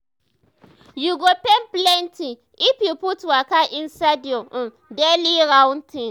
you go gain plenty if you put waka inside your um daily routine